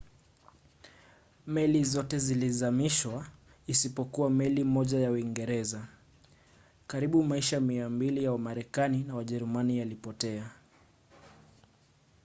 meli zote zilizamishwa isipokuwa meli moja ya uingereza. karibu maisha 200 ya wamarekani na wajerumani yalipotea